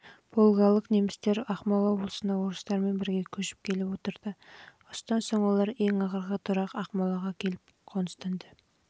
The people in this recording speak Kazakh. волгалық немістер ақмола облысына орыстармен бірге көшіп келіп отырды осыдан соң олар ең ақырғы тұрақ ақмола